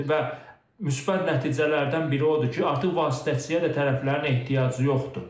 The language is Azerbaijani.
Və müsbət nəticələrdən biri odur ki, artıq vasitəçiyə də tərəflərin ehtiyacı yoxdur.